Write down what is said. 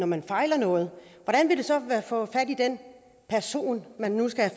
man fejler noget hvordan vil det så være at få fat i den person man nu skal